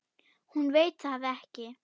Hún veit það ekki.